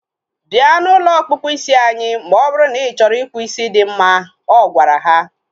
Bịa na ụlọ ọkpụkpụ isi anyị ma ọ bụrụ na ị chọrọ ịkpụ isi dị mma. Ọ gwara ha